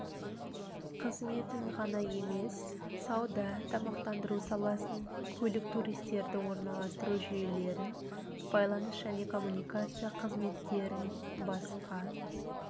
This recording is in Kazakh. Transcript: қызметін ғана емес сауда тамақтандыру саласын көлік туристерді орналастыру жүйелерін байланыс және коммуникация қызметтерін басқа